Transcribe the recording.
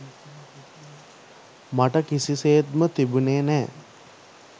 මට කිසිසේත්ම තිබුනේ නෑ.